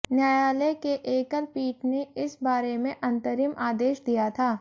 न्यायालय के एकल पीठ ने इस बारे में अंतरिम आदेश दिया था